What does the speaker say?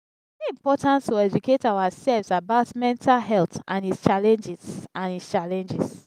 e dey important to educate ourselves about mental health and its challenges. and its challenges.